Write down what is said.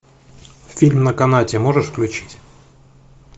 фильм на канате можешь включить